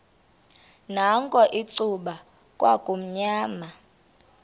nakho icuba kwakumnyama